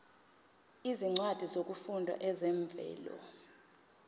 izincwadi zokufunda ezivela